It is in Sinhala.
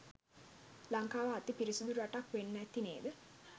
ලංකාව අති පිරිසිඳු රටක් වෙන්න අති නේද?